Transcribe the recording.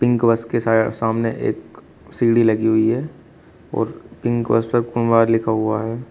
Pink bus के साय सामने एक सीढ़ी लगी हुई है और पिंक बस पर कुँवार लिखा हुआ है।